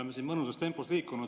Me oleme mõnusas tempos liikunud ...